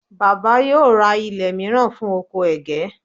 baba yíò ra ilé miran fún ọkọ ẹgẹ